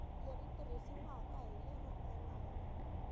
leri tirhisiwaka hi lero olova